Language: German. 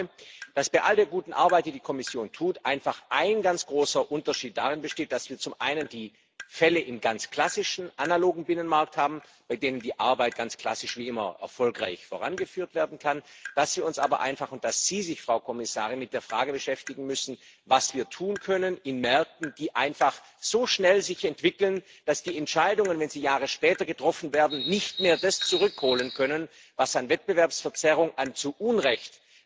Ich glaube, dass bei all der guten Arbeit, die die Kommission leistet, einfach ein ganz großer Unterschied darin besteht, dass wir zum einen die Fälle in ganz klassischen analogen Binnenmarkt haben, bei denen die Arbeit ganz klassisch wie immer erfolgreich vorangeführt werden kann, dass wir uns aber einfach, und dass Sie sich, Frau Kommissarin, mit der Frage beschäftigen müssen, was wir in Märkten tun können, die sich einfach so schnell entwickeln, dass die Entscheidungen, wenn sie Jahre später getroffen werden, nicht mehr das zurückholen können, was an Wettbewerbsverzerrung, an zu Unrecht